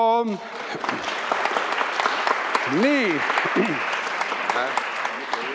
Riputab medali Eiki Nestorile kaela ja surub kätt.